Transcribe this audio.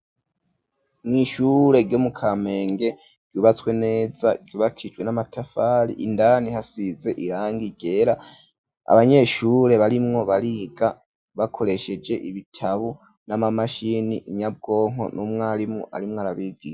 Mw’ishure, ryo mu Kamenge, ryubatswe neza, ryubakijwe n'amatafari; indani, hasize irangi ryera, abanyeshure, barimwo bariga, bakoresheje ibitabo, n'amamashini, inyabwonko, n'umwarimu arimwo arabigisha.